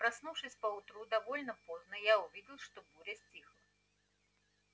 проснувшись поутру довольно поздно я увидел что буря стихла